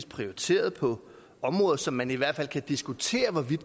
prioriteret på områder som man i hvert fald kan diskutere